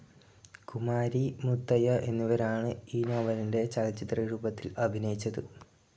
കുമാരി, മുത്തയ്യ എന്നിവരാണ് ഈ നോവലിൻ്റെ ചലചിത്രരൂപത്തിൽ അഭിനയിച്ചത്.